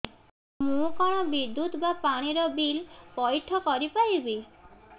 ମୁ କଣ ବିଦ୍ୟୁତ ବା ପାଣି ର ବିଲ ପଇଠ କରି ପାରିବି